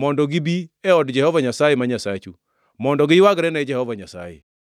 mondo gibi e od Jehova Nyasaye ma Nyasachu, mondo giywagre ne Jehova Nyasaye.